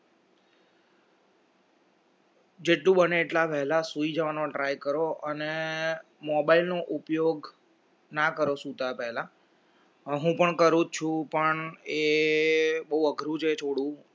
જેટલું બને એટલા વહેલા સુઈ જવાનો try કરો અને mobile નો ઉપયોગ ના કરો સુતા પહેલા હું પણ કરું છું પણ એ બહુ અઘરું છે છોડવું